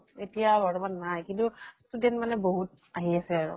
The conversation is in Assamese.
এতিয়া বৰ্তমান নাই। কিন্তু student মানে বহুত আহি আছে আৰু।